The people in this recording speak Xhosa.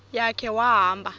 ya khe wahamba